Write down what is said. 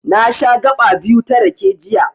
Na sha gaɓa biyu ta rake, jiya.